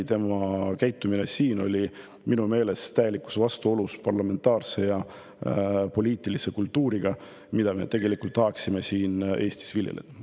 Tema käitumine siin oli minu meelest kohati täielikus vastuolus hea parlamentaarse poliitilise kultuuriga, mida me tegelikult tahaksime siin Eestis viljeleda.